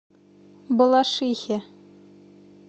балашихе